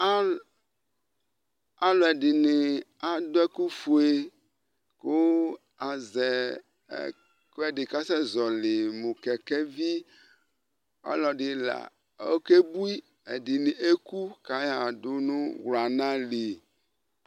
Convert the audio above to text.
alʊɛdɩnɩ adʊ ɛkʊfue, kʊ azɛ ɛkʊɛdɩ kʊ asɛzɔlɩ, mʊ utuvegeletsɔ, ɔlɔdɩla okebui, ɛdɩbɩ eku kʊ ayaɣa dʊ nʊ wlana li